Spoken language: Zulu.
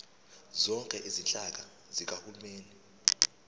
zonke izinhlaka zikahulumeni